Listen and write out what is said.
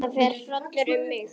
Viltu labba með mér heim?